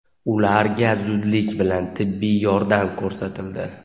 ularga zudlik bilan tibbiy yordam ko‘rsatildi.